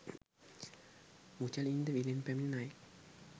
මුචලින්ද විලෙන් පැමිණි නයෙක්